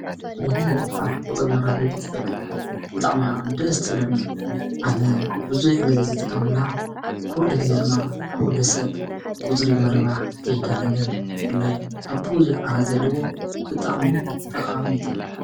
ካልኩሌተር ንቁፅሪ መራብሒ ትጠቅም ብጣዕም እያ ደስ ትብለኒ ኣነ ብዙሕ ግዜ ዝጥቀመላ ኩሉ ግዜ ድማ ኩሉ ሰብ ቁፅሪ ንምርባሕ ከይዳናገረ ናይ ቡዙሕ ኣሃዛት ዘለዎ ብጣዕሚ ጠቃሚት እያ።